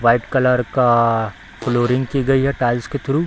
White colour का flooring की गई है टाइल्स के थ्रू ।